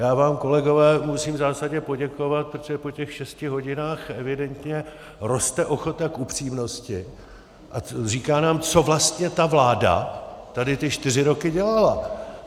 Já vám, kolegové, musím v zásadě poděkovat, protože po těch šesti hodinách evidentně roste ochota k upřímnosti a říká nám, co vlastně ta vláda tady ty čtyři roky dělala.